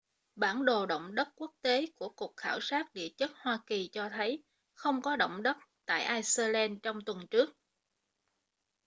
bản đồ động đất quốc tế của cục khảo sát địa chất hoa kỳ cho thấy không có động đất tại ai-xơ-len trong tuần trước